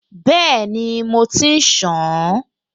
Bẹ́ẹ̀ni, mo ti ṣàn-an